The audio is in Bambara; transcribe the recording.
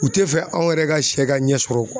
U tɛ fɛ anw yɛrɛ ka sɛ ka ɲɛ sɔrɔ.